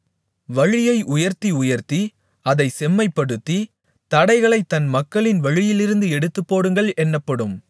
வழியை உயர்த்தி உயர்த்தி அதைச் செம்மைப்படுத்தி தடைகளை என் மக்களின் வழியிலிருந்து எடுத்துப்போடுங்கள் என்னப்படும்